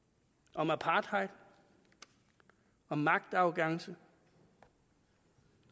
om apartheid om magtarrogance